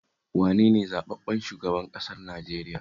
Wane ne zaɓaɓɓen shugaban ƙasar Najeriya?